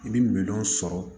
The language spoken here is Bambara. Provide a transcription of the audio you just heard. I bɛ minɛn sɔrɔ